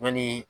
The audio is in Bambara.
Yanni